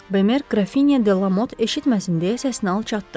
Bemer Grafinya de la Mot eşitməsin deyə səsini alçatdı.